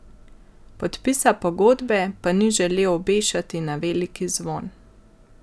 Podpisa pogodbe pa ni želel obešati na veliki zvon.